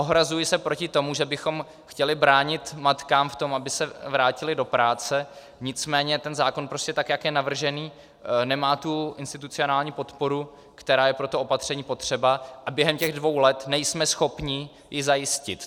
Ohrazuji se proti tomu, že bychom chtěli bránit matkám v tom, aby se vrátily do práce, nicméně ten zákon prostě, tak jak je navržený, nemá tu institucionální podporu, která je pro toto opatření potřeba, a během těch dvou let nejsme schopni ji zajistit.